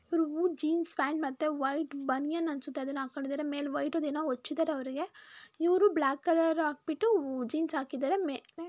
ಇವರು ಜೀನ್ಸ್ ಪ್ಯಾಂಟನ್ನು ಒಂದು ಬನಿನ್ ಜೊತೆ ಮೇಲೆ ಕುತ್ಕೊಂಡಿದ್ದಾರೆ ಇವರು ಬ್ಲಾಕ್ ಕಲರ್ ಆಕ್ಬಿಟ್ಟು ಜೀನ್ಸ್ ಹಾಕಿದ್ದಾರೆ.